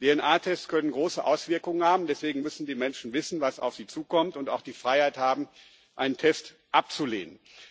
DNA-Tests können große Auswirkungen haben, deswegen müssen die Menschen wissen, was auf sie zukommt, und auch die Freiheit haben, einen Test abzulehnen.